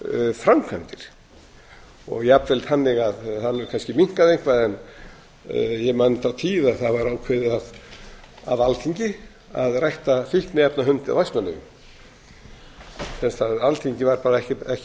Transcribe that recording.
framkvæmdir og jafnvel þannig að það hefur kannski minnkað eitthvað en ég man þá tíð að það var ákveðið af alþingi að rækta fíkniefnahund í vestmannaeyjum sem sagt að alþingi var ekki bara